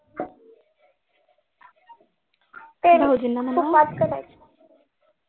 ते तुपात करायचं